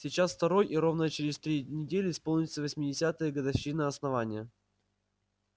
сейчас второй и ровно через три недели исполнится восьмидесятая годовщина основания